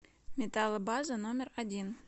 металлобаза номер один